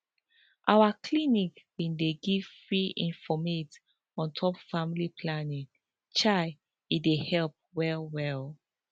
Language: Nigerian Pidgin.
our clinic bin dey give free informate on top family planning chai e dey help well well